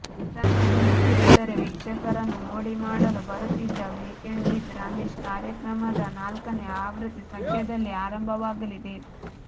ವಾರಾಂತ್ಯದಲ್ಲಿ ಕಿರುತೆರೆ ವೀಕ್ಷಕರನ್ನು ಮೋಡಿ ಮಾಡಲು ಬರುತ್ತಿದ್ದ ವೀಕೆಂಡ್ ವಿಥ್ ರಮೇಶ್ ಕಾರ್ಯಕ್ರಮದ ನಾಲ್ಕನೇ ಆವೃತ್ತಿ ಸದ್ಯದಲ್ಲೇ ಆರಂಭವಾಗಲಿದೆ